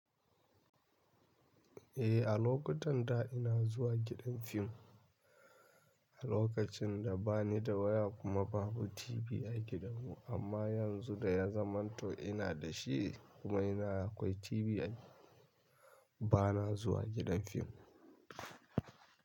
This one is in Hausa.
Eh, a lokutan da ina zuwa gidan fim, a lokacin da bani da waya kuma babu TV a gidan mu. Amma yanzu da ya zamanto ina da shi kuma ina akwai TV a yi, bana zuwa gidan fim.